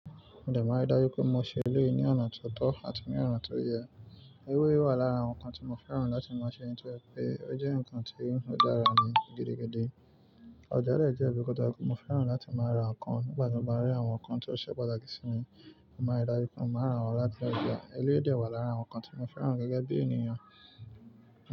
Mo máa rí dájú pé mo ṣe eleyi ní ọ̀nà tó tọ́ àti ní ọ̀nà tó yẹ. Eleyii wà lára àwọn nǹkan tí mo fẹ́ràn láti máa ṣe nítorí pé ó jẹ́ nǹkan tí ń dára ní gidigidi. Ọjà de jẹ́ ibi tí mo fẹ́ràn láti máa ra nǹkan nígbà tí mo bá rí àwọn nǹkan tó ṣẹ́ pataki sinmi. Mo máa rí dájú pé mo máa ra wọ́n láti ọjà. Eléyii dẹ̀ wà lára àwọn nǹkan tí mo fẹ́ràn gẹ́gẹ́ bí ènìyàn.